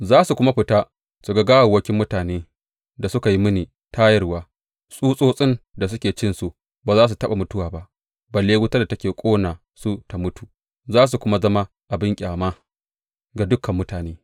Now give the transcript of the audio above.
Za su kuma fita su ga gawawwakin mutanen da suka yi mini tayarwa; tsutsotsin da suke cinsu ba za su taɓa mutuwa ba, balle wutar da take ƙona su ta mutu, za su kuma zama abin ƙyama ga dukan mutane.